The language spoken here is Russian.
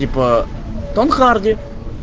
типа том харди